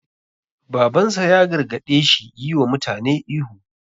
Babansa ya gargaɗe shi yi wa mutane ihu.